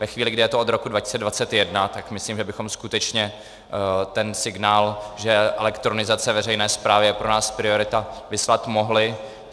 Ve chvíli, kdy je to od roku 2021, tak myslím, že bychom skutečně ten signál, že elektronizace veřejné správy je pro nás priorita, vyslat mohli.